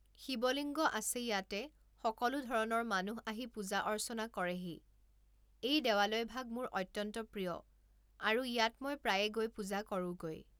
শিৱলিংগ আছে ইয়াতে সকলো ধৰণৰ মানুহ আহি পূজা অৰ্চনা কৰেহি এই দেৱালয়ভাগ মোৰ অত্যন্ত প্ৰিয় আৰু ইয়াত মই প্ৰায়ে গৈ পূজা কৰোঁগৈ